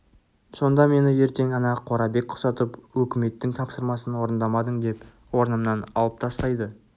сонда мені ертең ана қорабек құсатып өкіметтің тапсырмасын орындамадың деп орнымнан алып тастайды